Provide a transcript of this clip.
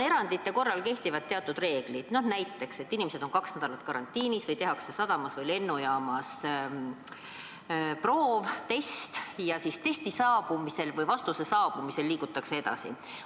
Erandite korral kehtivad aga teatud reeglid, näiteks tuleb inimestel olla kaks nädalat karantiinis või tehakse neile sadamas või lennujaamas proov, test, ja siis vastuse saabumisel liigutakse edasi.